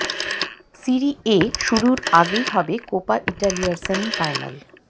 সিরি A শুরুর আগেই হবে কোপা ইটালিয়ার সেমি ফাইনাল